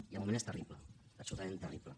i el moment és terrible absolutament terrible